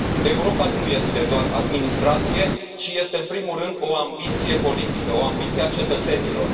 Europa nu este doar administrație, ci este în primul rând o ambiție politică, o ambiție a cetățenilor.